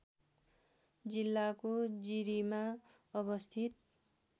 जिल्लाको जिरीमा अवस्थित